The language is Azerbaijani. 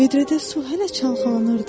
Vidrədə su hələ çalxalanırdı.